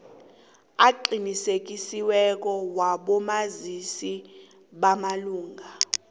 aqinisekisiweko wabomazisi bamalunga